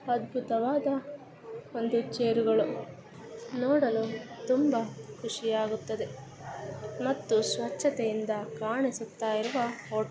ಅದ್ಭುತವಾದ ಒಂದು ಚೇರ್ ಗಳು ನೋಡಲು ತುಂಬಾ ಖುಷಿಯಾಗುತ್ತದೆ ಮತ್ತು ಸ್ವಚ್ಛತೆಯಿಂದ ಕಾಣಿಸುತ್ತಾ ಇರುವ ಹೋ--